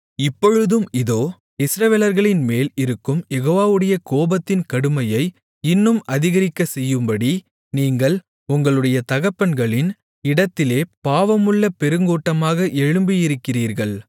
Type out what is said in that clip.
இப்பொழுதும் இதோ இஸ்ரவேலர்களின் மேல் இருக்கும் யெகோவாவுடைய கோபத்தின் கடுமையை இன்னும் அதிகரிக்கச்செய்யும்படி நீங்கள் உங்களுடைய தகப்பன்களின் இடத்திலே பாவமுள்ள பெருங்கூட்டமாக எழும்பியிருக்கிறீர்கள்